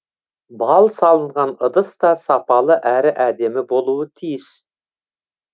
бал салынған ыдыс та сапалы әрі әдемі болуы тиіс